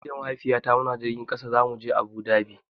Ni da Mahaifiyata muna jirgin ƙasa zamu je Abu Dhabi.